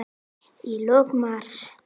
Í lok mars